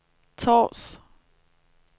Tårs